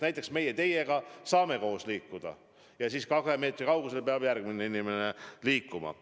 Näiteks meie teiega saame koos liikuda ja siis kahe meetri kaugusel võib mõni muu inimene olla.